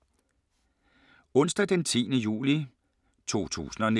Onsdag d. 10. juli 2019